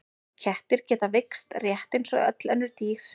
Kettir geta veikst rétt eins og öll önnur dýr.